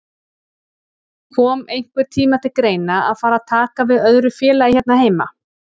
Kom einhvern tíma til greina að fara að taka við öðru félagi hérna heima?